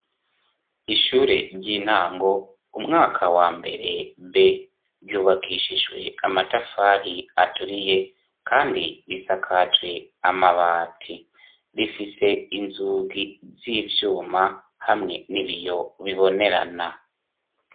Ishure ry'intango, umwaka wa mbere B ,ryubakishijwe amatafari aturiye, kandi risakajwe amabati, rifise inzugi z'ivyuma ,hamwe n'ibiyo bibonerana.